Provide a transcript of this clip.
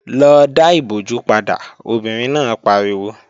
Lọ dá ìbojú padà, obìnrin náà pariwo!